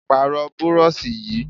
Pààrọ̀ burọ̀ṣì yìí!